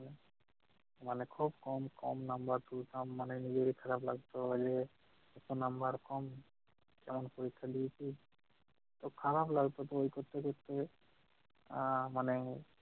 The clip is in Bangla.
মানে খুব কম কম number তুলতাম। মানে নিজেরই খারাপ লাগতো যে এত number কম! কেমন পরীক্ষা দিয়েছি! তো খারাপ লাগতো তো দেখতে দেখতে আহ মানে